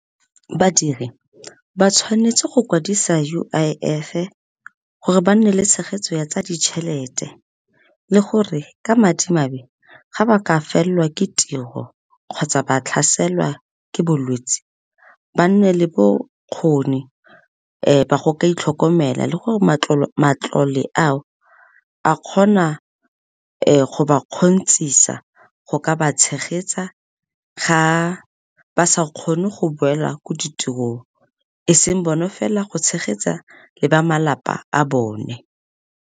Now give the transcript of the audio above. Badiri ba tshwanetse go kwadisa U_I_F-e gore ba nne le tshegetso ya tsa ditšhelete, le gore ka madimabe ga ba ka felwa ke tiro kgotsa ba tlhaselwa ke bolwetsi ba nne le bokgoni ba go ka itlhokomela le gore matlole ao a kgona go ba kgontshisa go ka ba tshegetsa ga ba sa kgone go boela ko ditirong e seng bone fela, go tshegetsa le ba malapa a bone.